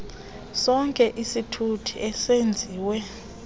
sonke isithuthi ezenziwe